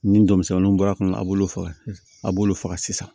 Ni denmisɛnnu bɔra a kɔnɔ a b'olu faga a b'olu faga sisan